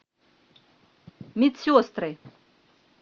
медсестры